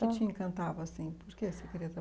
te encantava assim Por que você queria trabalhar?